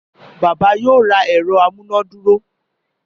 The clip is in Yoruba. Bàbá yóò ra ẹ̀rọ amúnàdúró